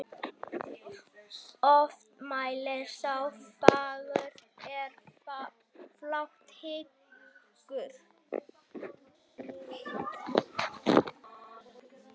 Oft mælir sá fagurt er flátt hyggur.